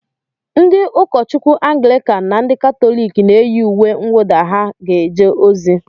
Ndị ụkọchukwu Anglịkan na ndị Katọlik na-eyi uwe mwụda ha ga-eje ozi.